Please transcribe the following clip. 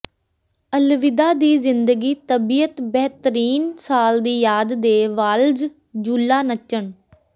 ਅਲਵਿਦਾ ਦੀ ਜ਼ਿੰਦਗੀ ਤਬੀਅਤ ਬੇਹਤਰੀਨ ਸਾਲ ਦੀ ਯਾਦ ਦੇ ਵਾਲਜ਼ ਝੂਲਾ ਨੱਚਣ